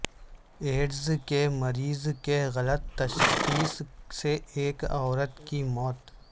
AIDS کے مرض کی غلط تشخیص سے ایک عورت کی موت